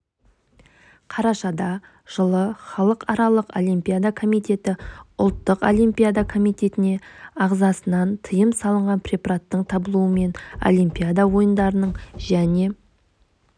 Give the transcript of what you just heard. қарашада жылы халықаралық олимпиада комитеті ұлттық олимпиада комитетіне ағзасынан тиым салынған препараттың табылуымен олимпиада ойындарының және